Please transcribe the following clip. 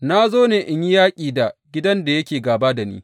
Na zo ne in yi yaƙi da gidan da yake gāba da ni!